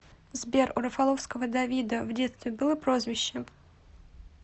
сбер у рафаловского давида в детстве было прозвище